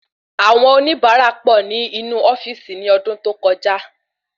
Awon oníbara pọ ní inú ofíìsì ni ọdún tó kọjá